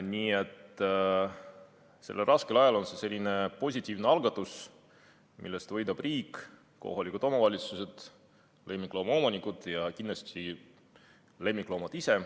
Nii et sellel raskel ajal on see selline positiivne algatus, millest võidavad riik, kohalikud omavalitsused, lemmikloomaomanikud ja kindlasti lemmikloomad ise.